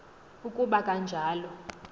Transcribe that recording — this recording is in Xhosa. uku ba kanjalo